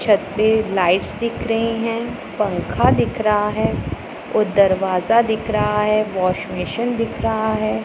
छत पे लाइट्स दिख रही है पंखा दिख रहा है और दरवाजा दिख रहा है वॉश बेसिन दिख रहा है।